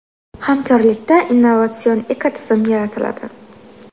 Hamkorlikda innovatsion ekotizim yaratiladi.